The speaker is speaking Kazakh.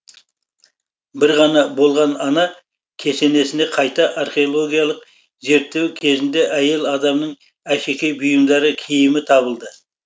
бір ғана болған ана кесенесіне қайта археологиялық зерттеу кезінде әйел адамның әшекей бұйымдары киімі табылды